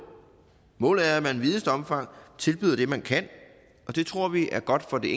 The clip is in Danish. målet er at man i videst muligt omfang tilbyder det man kan og det tror vi er godt for det